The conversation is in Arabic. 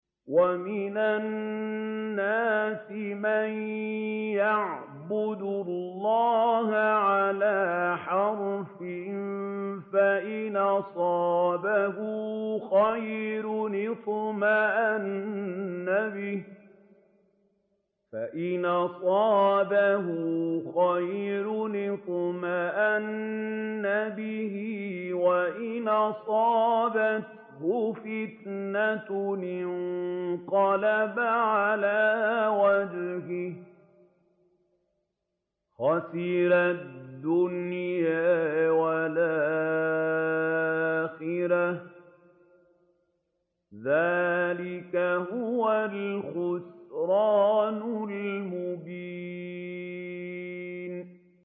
وَمِنَ النَّاسِ مَن يَعْبُدُ اللَّهَ عَلَىٰ حَرْفٍ ۖ فَإِنْ أَصَابَهُ خَيْرٌ اطْمَأَنَّ بِهِ ۖ وَإِنْ أَصَابَتْهُ فِتْنَةٌ انقَلَبَ عَلَىٰ وَجْهِهِ خَسِرَ الدُّنْيَا وَالْآخِرَةَ ۚ ذَٰلِكَ هُوَ الْخُسْرَانُ الْمُبِينُ